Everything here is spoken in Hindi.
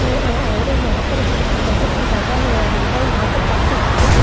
और यहां पर बहुत ज्यादा हरियाली है यहां पर पार्क के सामने दो--